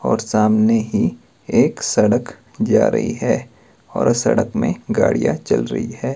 और सामने ही एक सड़क जा रही है और सड़क में गाड़ियां चल रही है।